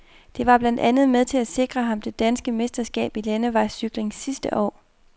Det var blandt andet med til at sikre ham det danske mesterskab i landevejscykling sidste år.